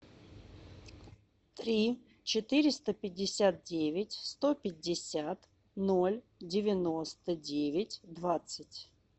три четыреста пятьдесят девять сто пятьдесят ноль девяносто девять двадцать